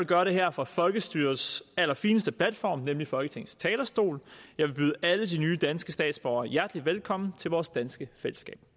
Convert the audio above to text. gøre det her fra folkestyrets allerfineste platform nemlig folketingets talerstol jeg vil byde alle de nye danske statsborgere hjertelig velkommen til vores danske fællesskab